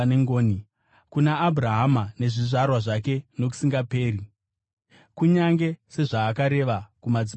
kuna Abhurahama nezvizvarwa zvake nokusingaperi, kunyange sezvaakareva kumadzibaba edu.”